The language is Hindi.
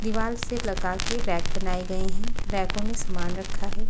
दीवार से लगा के रैक बनाए गए हैं रैकों में सामान रखा है।